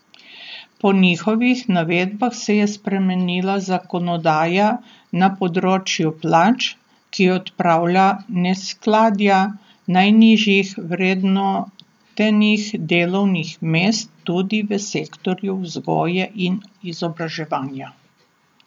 Po njihovih navedbah se je spremenila zakonodaja na področju plač, ki odpravlja neskladja najnižje vrednotenih delovnih mest tudi v sektorju vzgoje in izobraževanja.